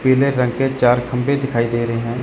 पीले रंग के चार खंभे दिखाई दे रहे--